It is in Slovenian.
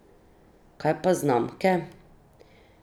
Kaj pa znamke?